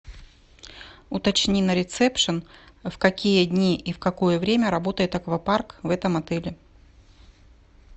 уточни на ресепшен в какие дни и в какое время работает аквапарк в этом отеле